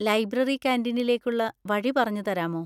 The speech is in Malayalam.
ലൈബ്രറി കാന്‍റീനിലേക്കുള്ള വഴി പറഞ്ഞുതരാമോ?